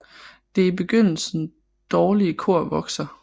Det i begyndelse dårlige kor vokser